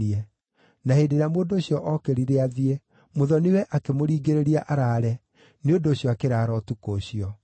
Na hĩndĩ ĩrĩa mũndũ ũcio ookĩrire athiĩ, mũthoni-we akĩmũringĩrĩria araare; nĩ ũndũ ũcio akĩraara ũtukũ ũcio.